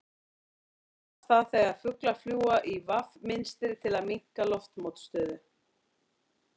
Hvað kallast það þegar fuglar fljúga í V mynstri til að minnka loftmótstöðu?